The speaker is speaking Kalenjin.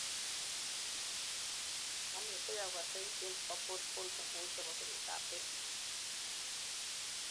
monetegei kokergeit en chebo pole vaulting kou chebo biret ab beek